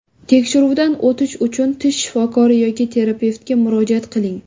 Tekshiruvdan o‘tish uchun tish shifokori yoki terapevtga murojaat qiling.